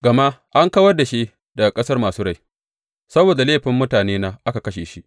Gama an kawar da shi daga ƙasar masu rai; saboda laifin mutanena aka kashe shi.